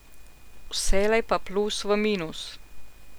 Vselej pa plus v minus.